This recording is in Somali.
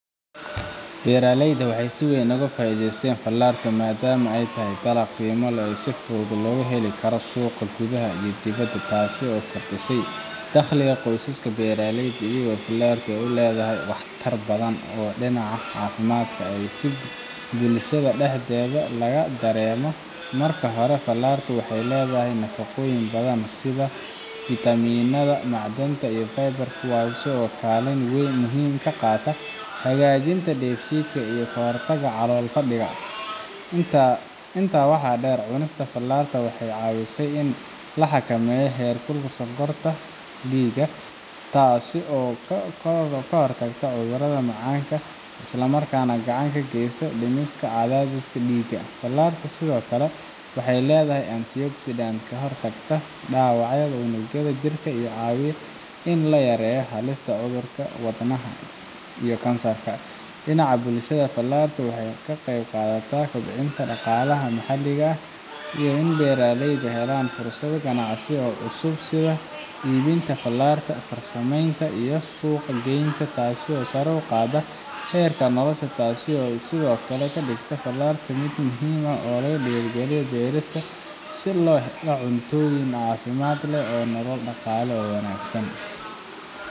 Beeraleyda waxay si weyn ugu faidheysten falarta madama ay tahay dalaq qeyma leh oo si fudhud logaheli Karo suuqa kudhuha iyo dibida, taaso fardisay taqliga qoysaska beeraleyda iyo falarta ay u ledhahay wax tar badhan oo dinaca cafimadka ay si bulashadha dexdedha lagadarema. Marki hora falarta waxay ledhahay nafaqoyin badhan sidha vitaminadha macdanta qeybarka kuwaaso kalin wein muhim kaqata hagajinta deef shidka iyo forsadha calol qadica inta waxa deer cunista falarta waxay cawisay in laxakameyo heerkula sonkarta dhiiga taaso kahortagta cudhuradha macanka islamarkana gacan kageysa dimiska cadhadhiska dhiiga falarta sidhokale waxay ledhahay antioxidan@ kahortagta dawacyadha cunugyadha jirka cawiya in layareyo halista cudhurka wadnaha iyo kansarka. Dinaca bulshada falarta waxay Ka qeyb kaqadhata kubcinta daqalaha maxaliga ah iyo in beeraleyda helaan fursadho ganacsi oo cusub sidha iibinta falarta farsameynta iyo suuq geynta taaso sara uqada heerka nolasha taaso sidhokale kadigta falarta mid muhim ah oo lagadiga gedhadka si lohela cuntayin caafimaad leh oo nolol daqale wanagsan.